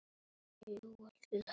Linda: En þú?